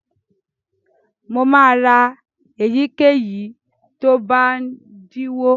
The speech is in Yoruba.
Mo máa ra èyíkéyìí tó bá dínwó.